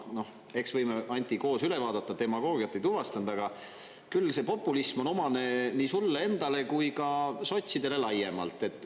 Eks võime, Anti, koos üle vaadata, demagoogiat ei tuvastanud, aga küll see populism on omane nii sulle endale kui ka sotsidele laiemalt.